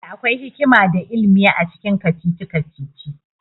Da akwai hikima da ilimi acikin kacici-kacici